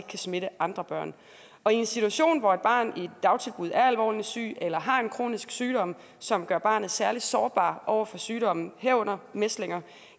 kan smitte andre børn og i en situation hvor et barn i et dagtilbud er alvorligt sygt eller har en kronisk sygdom som gør barnet særlig sårbart over for sygdomme herunder mæslinger